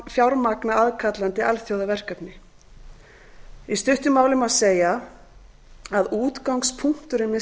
fjármagna aðkallandi alþjóðaverkefni í stuttu máli má segja að útgangspunkturinn með